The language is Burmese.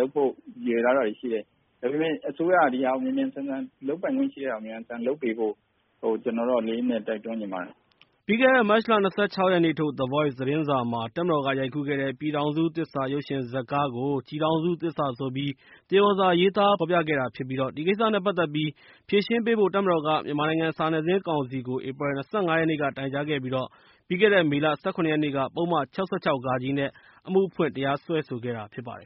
လုပ်ဖို့အတွက်လည်း ရည်ရွယ်ထားတာတွေရှိတယ်။ ဒါပေမဲ့ အစိုးရက အစိုးရလုပ်ပိုင်ခွင့်ရှိတဲ့ဟာကို မြန်မြန်ဆန်ဆန်လုပ်ပေးဖို့ ကျနော်ကတော့ လေးလေးနက်နက် တိုက်တွန်းချင်ပါတယ်။" ပြီးခဲ့တဲ့ မတ်လ ၂၆ ရက်နေ့ နေ့စွဲနဲ့ ထုတ်ဝေတဲ့ The Voice သတင်းစာမှာ တပ်မတော်ကရိုက်ကူးတဲ့ "ပြည်ထောင်စုသစ္စာ" ရုပ်ရှင်ဇာတ်ကားကို "ကျည်ထောင်စုသစ္စာ" ဆိုပြီး သရော်စာ ရေးသားဖော်ပြခဲ့တာဖြစ်ပါတယ်။ ဒီကိစ္စနဲ့ ပတ်သက်ပြီး ဖြေရှင်းပေးဖို့ တပ်မတော်က မြန်မာနိုင်ငံ စာနယ်ဇင်းကောင်စီကို ဧပြီလ ၂၅ ရက်နေ့က တိုင်ကြားခဲ့ပြီး မေလ ၁၇ ရက်နေ့က ပုဒ်မ ၆၆-ဃ နဲ့ အမှုဖွင့်လိုက် တရားစွဲဆိုခဲ့တာဖြစ်ပါတယ်